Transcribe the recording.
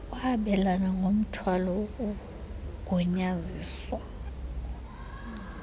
kwabelana ngomthwalo wogunyaziso